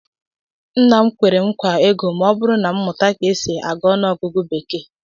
Nna m kwere m nkwa ego ma ọ bụrụ na m mụta ka e si agụ ọnụọgụgụ bekee